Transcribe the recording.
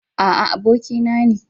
A'a, abokina ne.